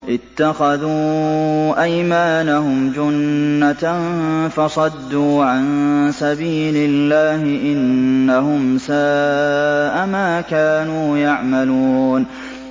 اتَّخَذُوا أَيْمَانَهُمْ جُنَّةً فَصَدُّوا عَن سَبِيلِ اللَّهِ ۚ إِنَّهُمْ سَاءَ مَا كَانُوا يَعْمَلُونَ